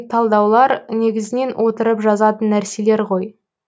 талдаулар негізінен отырып жазатын нәрселер ғой